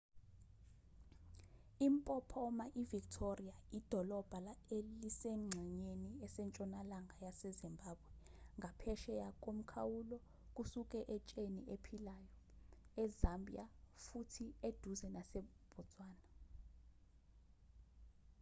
impophoma ivictoria idolobha elisengxenyeni esentshonalanga yasezimbabwe ngaphesheya komkhawulo kusuka etsheni eliphilayo ezambia futhi eduze nasebotswana